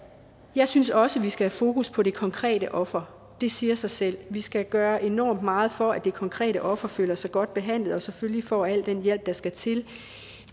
jeg synes også vi skal have fokus på det konkrete offer det siger sig selv vi skal gøre enormt meget for at det konkrete offer føler sig godt behandlet og selvfølgelig får al den hjælp der skal til